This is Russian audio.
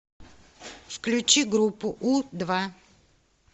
включи группу у два